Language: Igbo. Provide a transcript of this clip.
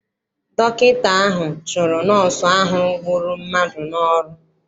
Dọkịta ahụ chụrụ nọọsụ ahụ gburu mmadụ n'ọrụ.